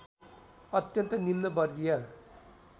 अत्यन्त निम्न वर्गीय